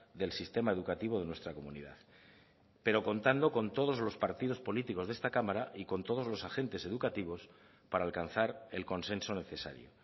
del sistema educativo de nuestra comunidad pero contando con todos los partidos políticos de esta cámara y con todos los agentes educativos para alcanzar el consenso necesario